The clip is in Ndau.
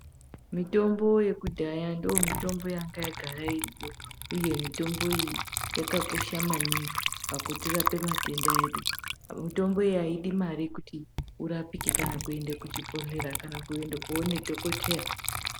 Mitombo yekudhaya ndomitombo yangayagara iriyo, uye mitombo iyi yakakosha maningi pakutirape matenda edu. Mitombo iyi haidi mari kuti urapike kana kuende kuchibhodhlera kana kuende koone dhokoteya.